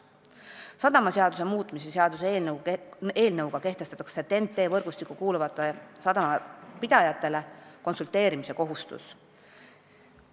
Sadamaseaduse muutmise seaduse eelnõu kohaselt kehtestatakse TEN-T võrgustikku kuuluvate sadamate pidajatele konsulteerimise kohustus.